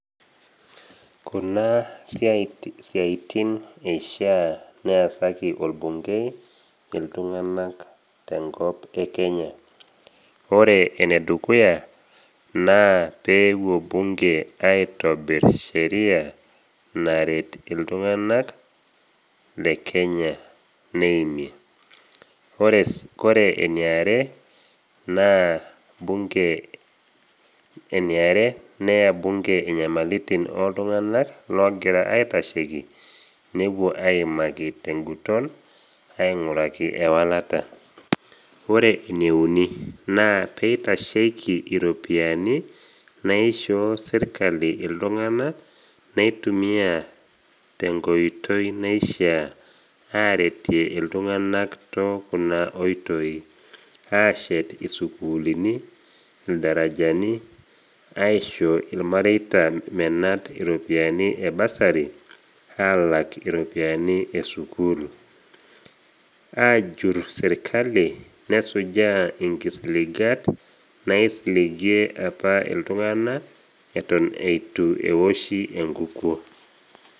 Kuna siaitin eishaa neasaki olbungei iltung’ana tenkop e Kenya, ore enedukuya naa peewuo bunge aitobir sharia naret iltung’ana le Kenya neimie. Kore eniare naa bunge inyamalitin oltung’ana logira aitasheki newuo aimaki tenkuton aing’uraki ewalata . Ore eneuni naa peitasheiki iropiani naishoo serkali iltung’ana neitumia tenkoitoi naishaa aretie iltung’ana tookuna oitoi, ashet isukuulini, ildarajani, aisho ilmareita menat iropiani e bursary alaak iropiani e sukuul. Ajur serkali nesujaa inkisiligat naisiligie apa iltung’ana eton eitu eoshi enkukuo.